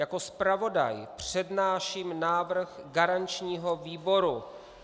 Jako zpravodaj přednáším návrh garančního výboru.